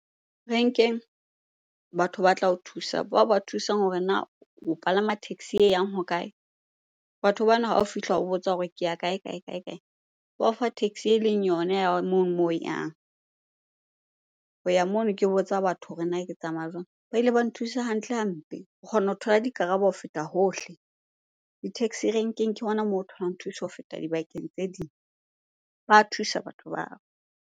Rank-eng batho batla o thusa. Bao ba o thusang hore na o palama taxi e yang hokae? Batho bana ha o fihla o botsa hore ke ya kae-kae, kae-kae? Ba o fa taxi eleng yona ya mono moo o yang. Ho ya mono ke botsa batho hore na ke tsamaya jwang? Ba ile ba nthusa hantle hampe, o kgona ho thola dikarabo ho feta hohle. Di-taxi rank-eng ke hona moo tholang thuso ho feta dibakeng tse ding. Ba thusa batho bao.